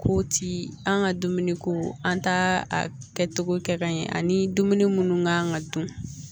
K'o ti an ka dumuniko an t'a a kɛcogo kɛ ka ɲɛ ani dumuni kan ka dun